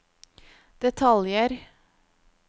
detaljer